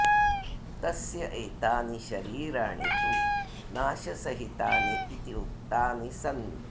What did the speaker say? तस्य एतानि शरीराणि तु नाशसहितानि इति उक्तानि सन्ति